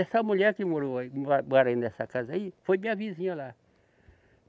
Essa mulher que morou aí, mo, mora ai nessa casa aí, foi minha vizinha lá.